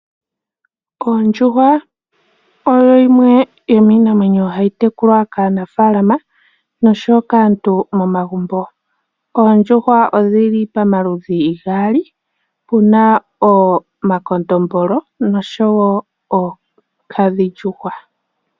Oondjuhwa odho dhimwe dho miinanwenyo mbyoka hayi tekulwa kaanafalama oshowo momagumbo. Oondjuhwa odhi li pamaludhi gaali pu na omakondombolo oshowo oonkadhindjuhwa.